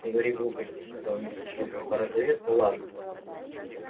не говори глупостей сказала миссис уизли порозовев ну ладно